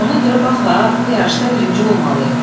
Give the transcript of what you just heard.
Ona görə bax ha, bu yarışda birinci olmalıyıq.